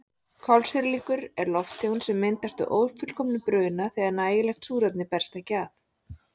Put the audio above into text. Kolsýrlingur er lofttegund sem myndast við ófullkominn bruna þegar nægilegt súrefni berst ekki að.